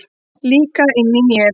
Líka inni í mér.